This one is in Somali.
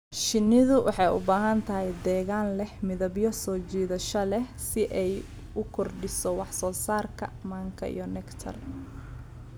Shinnidu waxay u baahan tahay deegaan leh midabyo soo jiidasho leh si ay u kordhiso wax soo saarka manka iyo nectar.